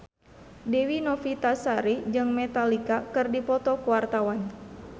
Dewi Novitasari jeung Metallica keur dipoto ku wartawan